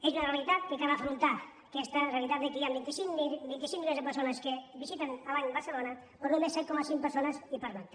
és una realitat que cal afrontar aquesta realitat que hi han vint cinc milions de persones que visiten l’any barcelona però només set coma cinc milions de persones hi pernocten